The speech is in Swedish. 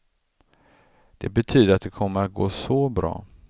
Det betyder att det kommer att gå så bra.